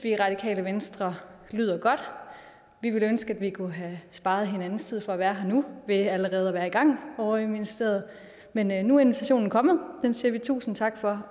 i radikale venstre lyder godt vi ville ønske at vi kunne have sparet hinandens tid så skulle være her nu men allerede var i gang ovre i ministeriet men men nu er invitationen kommet og den siger vi tusind tak for